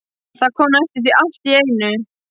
Það kom næstum því allt í einu.